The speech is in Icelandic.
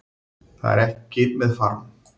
Það er ekki með farm